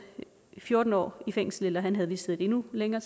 fjorten år i fængsel eller han havde vist siddet endnu længere